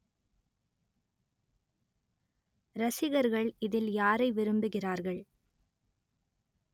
ரசிகர்கள் இதில் யாரை விரும்புகிறார்கள்